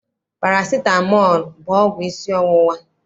Parasitamọl bụ ọgwụ isi ọwụwa.